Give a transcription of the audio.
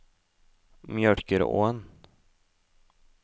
Mjølkeråen